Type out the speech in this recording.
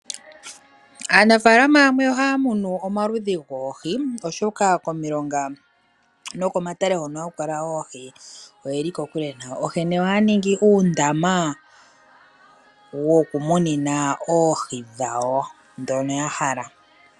Aanafaalama yamwe ohaa munu omaludhi goohi oshoka komilonga nokomatale hono haku kala oohi oyeli kokule nayo, onkene ohaya ningi uundama wokumunina oohi dhawo dhono ya hala.